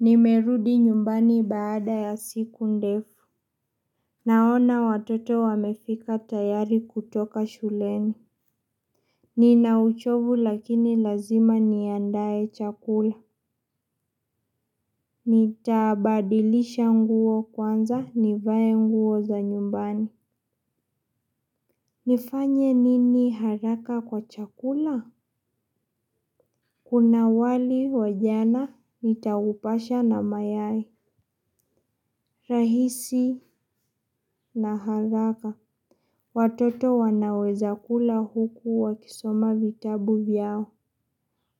Nimerudi nyumbani baada ya siku ndefu. Naona watoto wamefika tayari kutoka shuleni. Nina uchovu lakini lazima niandae chakula. Nitabadilisha nguo kwanza nivae nguo za nyumbani. Nifanye nini haraka kwa chakula? Kuna wali wa jana nitaupasha na mayai. Rahisi na haraka. Watoto wanaweza kula huku wakisoma vitabu vyao.